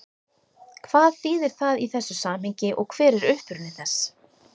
Hvað þýðir það í þessu samhengi og hver er uppruni þess?